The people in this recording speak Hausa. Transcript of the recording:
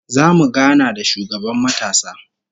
Zamu gana da shugaban matasa